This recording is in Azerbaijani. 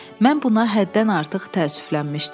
Mən buna həddən artıq təəssüflənmişdim.